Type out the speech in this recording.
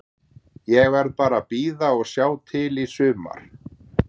Ég verð bara að bíða og sjá til í sumar.